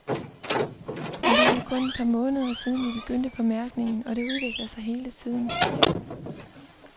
Men det er jo kun et par måneder siden, vi begyndte på mærkningen, og det udvikler sig hele tiden.